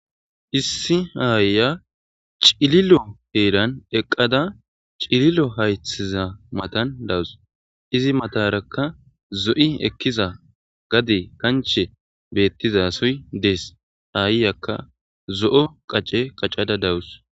issi aayya cililo heeran eqqada cililo haythiza matan dawus izi matarakka zo7i ekkiza gade kanche bettiza suy dees aayyakka zo7o qacce qaccada dawus